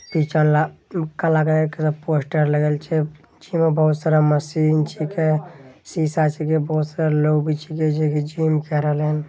पीछा ला काला कलर के एकटा पोस्टर लगल छै पीछे में बहुत सारा मशीन छींके शीशा छींके बहुत सारा लोग छींके जे की जिम केए रहले हन।